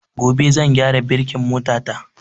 Gobe zan gyara birkin mota ta